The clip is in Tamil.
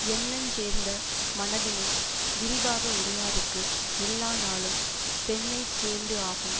எண்ணஞ் சேர்ந்த மனதினை விரிவாக உடையாருக்கு எல்லா நாளும் பெண்ணைச் சேர்ந்து ஆகும்